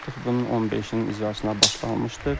Artıq bunun 15-nin icrasına başlanılmışdır.